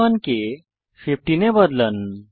1 কে 15 এ বদলান